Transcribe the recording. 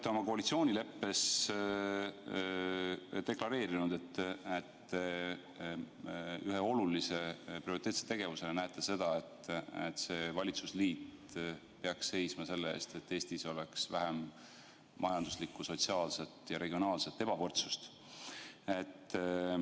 Te olete koalitsioonileppes deklareerinud, et ühe olulise prioriteetse tegevusena näete seda, et see valitsusliit peaks seisma selle eest, et Eestis oleks vähem majanduslikku, sotsiaalset ja regionaalset ebavõrdsust.